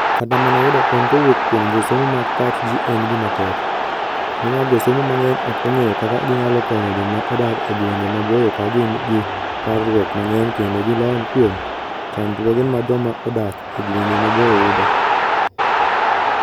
Kata mana yudo kony kowuok kuom josomo mag pach ji en gima tek, nimar josomo mang'eny ok ong'eyo kaka ginyalo konyo joma odak e gwenge maboyo ka gin gi parruok mang'eny kendo gi lony kuom chandruoge ma joma odak e gwenge maboyo yudo.